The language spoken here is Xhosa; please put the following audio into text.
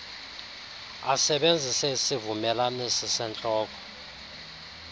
asebenzise isivumelanisi sentloko